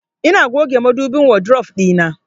Ina goge madubin wadrof ɗina.